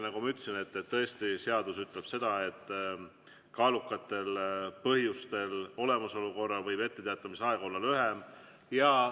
Nagu ma ütlesin, tõesti seadus ütleb seda, et kaalukate põhjuste olemasolu korral võib etteteatamise aeg olla lühem.